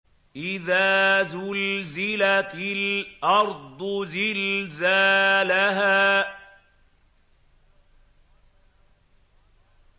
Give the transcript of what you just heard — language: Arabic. إِذَا زُلْزِلَتِ الْأَرْضُ زِلْزَالَهَا